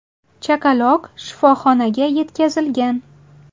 Chaqaloq shifoxonaga yetkazilgan.